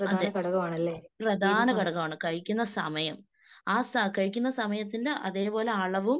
പ്രധാന സമയമാണ് കഴിക്കുന്ന സമയം. ആ കഴിക്കുന്ന സമയത്തിന്റെ അതേപോലെ അളവും